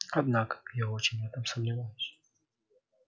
однако я очень в этом сомневаюсь